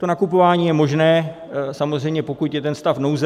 To nakupování je možné, samozřejmě pokud je ten stav nouze.